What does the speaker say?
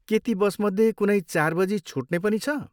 के ती बसमध्ये कुनै चार बजी छुट्ने पनि छ?